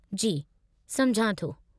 जी, सम्झां थो।